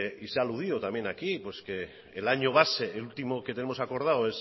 y se aludió también aquí pues que el año base el último que tenemos acordado